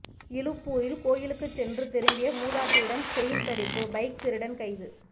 இலுப்பூரில் கோயிலுக்கு சென்று திரும்பிய மூதாட்டியிடம் செயின் பறிப்பு பைக் திருடன் கைது